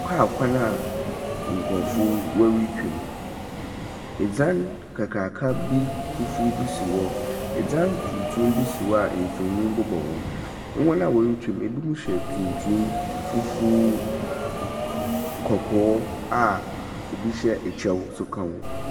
Kaa kwan a nkurofoɔ wɔre twam. Ɛdzan kakraka fufu bi si hɔ. Ɛdzan tuntum bi si hɔ a mfoni bobɔ ho. Wɔn wɔre twam no ebinom hyɛ tuntum, fufu, kɔkɔɔ a obi hyɛ ɛkyɛw nso ka ho.